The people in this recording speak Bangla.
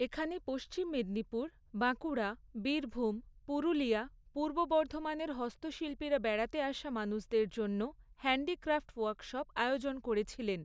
এখানে পশ্চিম মেদিনীপুর, বাঁকুড়া, বীরভূ্ম, পুরুলিয়া, পূর্ব বর্ধমানের হস্তশিল্পীরা বেড়াতে আসা মানুষদের জন্য হ্যান্ডিক্র্যাফট ওয়ার্কশপ আয়োজন করেছিলেন।